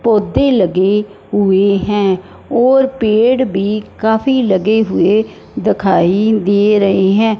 पौधे लगे हुए हैं और पेड़ भी काफी लगे हुए दिखाई दे रहे हैं।